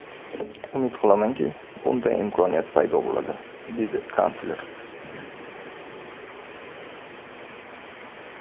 Umid qilamanki, bunday imkoniyat paydo bo‘ladi”, − dedi kansler.